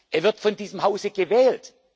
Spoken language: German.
Er wird von diesem Hause gewählt.